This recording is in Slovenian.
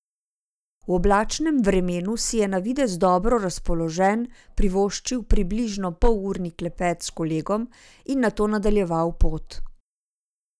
V oblačnem vremenu si je na videz dobro razpoložen privoščil približno polurni klepet s kolegom in nato nadaljeval pot.